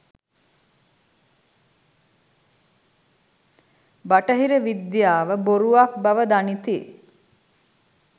බටහිර විද්‍යාව බොරුවක් බව දනිති